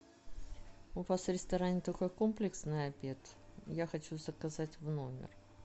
у вас в ресторане только комплексный обед я хочу заказать в номер